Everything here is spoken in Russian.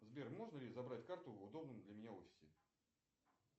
сбер можно ли забрать карту в удобном для меня офисе